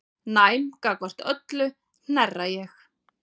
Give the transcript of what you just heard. Næm gagnvart öllu hnerra ég.